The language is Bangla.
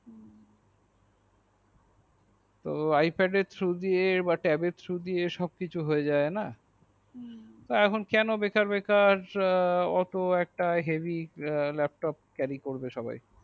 ipad এর থ্রু দিয়ে সব কিছু হইয়া যাই না তো কেন বেকার বেকার হেবি বেকার অটুট একটা হেবি laptop carry করবে সবাই